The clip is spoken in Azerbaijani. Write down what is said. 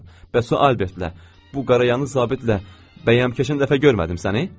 Bəs o Albertlə, bu qara yanız zabitlə bəyəm keçən dəfə görmədim səni?